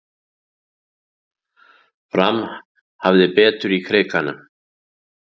Fram hafði betur í Krikanum